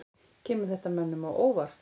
Kemur þetta mönnum á óvart?